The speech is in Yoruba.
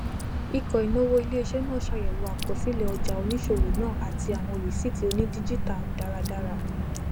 íkọ ìnáwó iléiṣẹ náà ṣàyẹwò àkọsílẹ ọjà oníṣòwò náà àti àwọn risíìtì onídíjítà dáradára